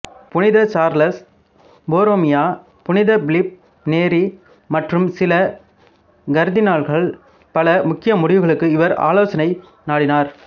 புனித Charles Borromeo புனித Philip Neri மற்றும் சில கர்தினால்கள் பல முக்கிய முடிவுகளுக்கு இவரின் ஆலோசனையை நாடினர்